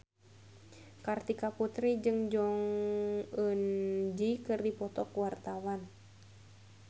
Kartika Putri jeung Jong Eun Ji keur dipoto ku wartawan